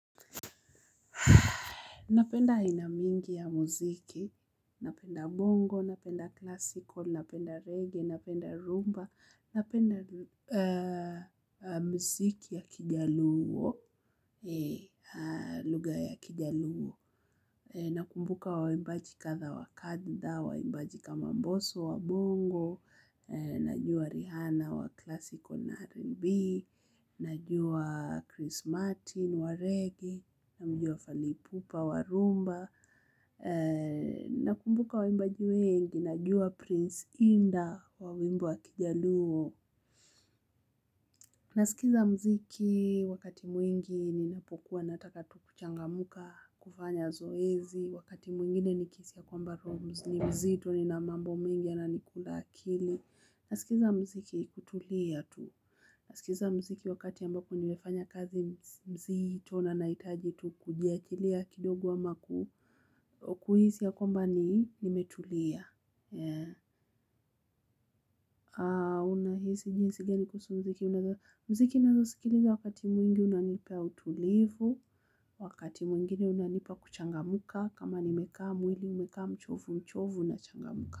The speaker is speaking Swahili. Napenda aina mingi ya muziki, napenda bongo, napenda classical, napenda reggae, napenda rumba, napenda mziki ya Kijaluo, lugha ya Kijaluo nakumbuka waimbaji kadha wa kadha waimbaji kama mbosso wa bongo najua Rihanna wa classical na rnb najua Chris Martin wa reggae namjua Fally Ipupa wa rhumba nakumbuka waimbaji wengi najua prince indah wa wimbo wa Kijaluo nasikiza mziki wakati mwingi ninapokuwa nataka tu kuchangamka kufanya zoezi wakati mwingine nikihisi ya kwamba roho ni mzito nina mambo mengi yananikula akili nasikiza mziki kutulia tu nasikiza mziki wakati ambako nimefanya kazi mzito na nahitaji tu kujiekelea kidogo ama ku. Kuhisi ya kwamba ni nimetulia. Unahisi jinsi gani kuhusu mziki mziki naezasikiliza wakati mwingi unanipa utulivu wakati mwingine unanipa kuchangamka kama nimekaa mwili umekaa mchovu mchovu nachangamka.